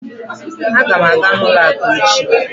Aga m aga n'ụlọ akụ echi